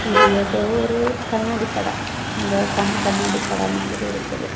இது ஏதோ ஒரு கண்ணாடி கட இந்த கண் கண்ணாடி கட மாதிரி இருக்குது.